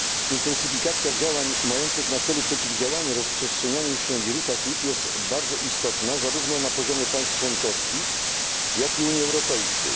Intensyfikacja działań mających na celu przeciwdziałanie rozprzestrzenianiu się wirusa HIV jest bardzo istotna zarówno na poziomie państw członkowskich, jak i Unii Europejskiej.